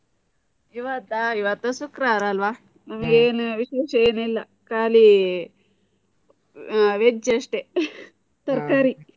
ಇವತ್ತಾ ಇವತ್ತು ಶುಕ್ರವಾರ ಅಲ್ಲ. ಹ್ಮ್. ಇನ್ ಏನ್ ವಿಶೇಷ ಏನ್ ಇಲ್ಲ. ಖಾಲಿ veg ಅಷ್ಟೇ ತರ್ಕಾರಿ.